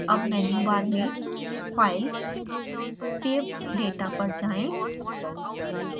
अब menu bar में file > save data पर जाएँ